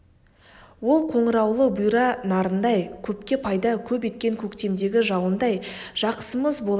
ол қоңыраулы бұйра нарындай көпке пайда көп еткен көктемдегі жауындай жақсымыз болатын